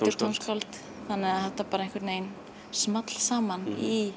tónskáld þannig að þetta small saman í